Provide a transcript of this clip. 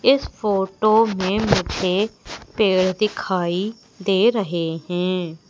इस फोटो में मुझे पेड़ दिखाई दे रहे हैं।